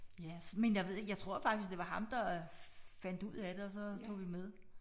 Ja men jeg ved jeg tror faktisk det var ham der fandt ud af det og så tog vi med